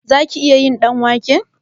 Zaki iya yin ɗanwake?